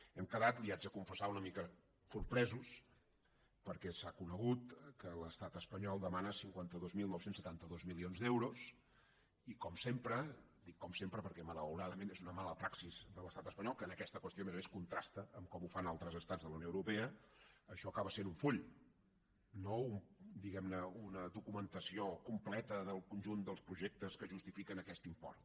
hem quedat li ho haig de confessar una mica sorpresos perquè s’ha conegut que l’estat espanyol demana cinquanta dos mil nou cents i setanta dos milions d’euros i com sempre dic com sempre perquè malauradament és una mala praxis de l’estat espanyol que en aquesta qüestió a més a més contrasta amb com ho fan altres estats de la unió europea això acaba sent un full no diguem ne una documentació completa del conjunt dels projectes que justifiquen aquest import